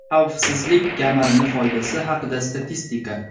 Xavfsizlik kamarini foydasi haqida statistika.